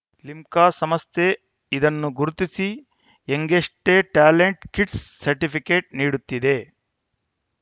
ಲಿಮ್ಕಾ ಸಂಸ್ಥೆ ಇದನ್ನ ಗುರುತಿಸಿ ಯಂಗೆಷ್ಟೆಟ್ಯಾಲೆಂಟ್‌ ಕಿಡ್ಸ್‌ ಸರ್ಟಿಫಿಕೇಟ್‌ ನೀಡುತ್ತಿದೆ